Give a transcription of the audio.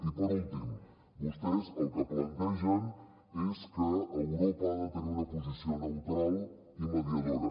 i per últim vostès el que plantegen és que europa ha de tenir una posició neutral i mediadora